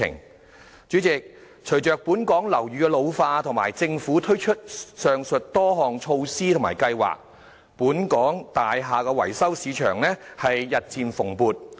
代理主席，隨着本港樓宇老化及政府推出上述多項措施及計劃，本港大廈維修市場日漸蓬勃。